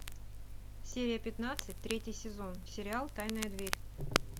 серия пятнадцать третий сезон сериал тайная дверь